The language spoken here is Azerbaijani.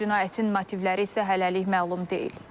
Cinayətin motivləri isə hələlik məlum deyil.